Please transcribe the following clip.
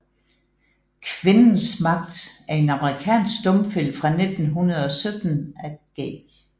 Kvindens magt er en amerikansk stumfilm fra 1917 af G